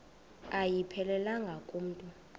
ayiphelelanga ku mntu